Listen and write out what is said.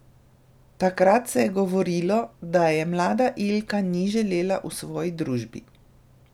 Takrat se je govorilo, da je mlada Ilka ni želela v svoji družbi.